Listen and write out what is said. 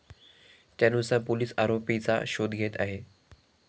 त्यानुसार पोलीस आरोपीचा शोध घेत आहे.